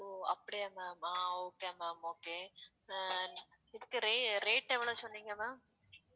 ஓ அப்படியா ma'am ஆ okay ma'am okay அ இதுக்கு ra~ rate எவ்வளவு சொன்னீங்க ma'am